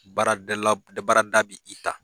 Baara baarada bɛ i ta